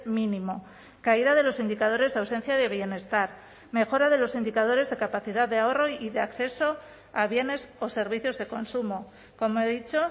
mínimo caída de los indicadores de ausencia de bienestar mejora de los indicadores de capacidad de ahorro y de acceso a bienes o servicios de consumo como he dicho